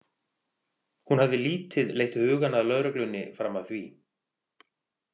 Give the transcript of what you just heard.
Hún hafði lítið leitt hugann að lögreglunni fram að því.